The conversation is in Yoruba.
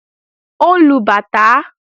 Ó ń lu bàtá